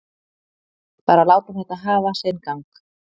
Bara láta þetta hafa sinn gang.